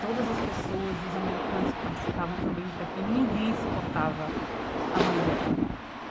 Todas as pessoas, os americanos que participavam também do intercâmbio, ninguém suportava a mãe dela.